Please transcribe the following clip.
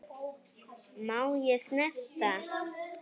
Má ég snerta?